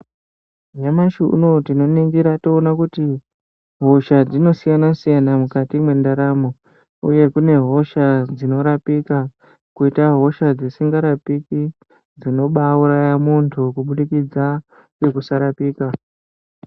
Nyamashi unowu tinoningira toona kuti hosha dzinosiyana siyana mukati mwendaramo , uye kune hosha dzinorapika , koite hosha dzisingarapiki dzinobauraya muntu kubudikidza ngekusarapika.